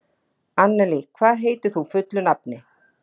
Annelí, hvað heitir þú fullu nafni?